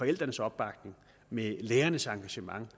forældrenes opbakning med lærernes engagement